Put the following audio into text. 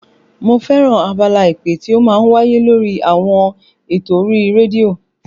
Mo fẹ́ràn abala ìpè tí ó máa ń wáyé lórí àwọn eto orí rédíò